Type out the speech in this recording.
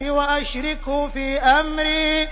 وَأَشْرِكْهُ فِي أَمْرِي